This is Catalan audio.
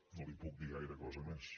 no li puc dir gaire cosa més